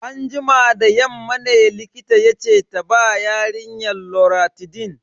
Anjima da yamma ne likita yace ta ba yarinyar loratidine.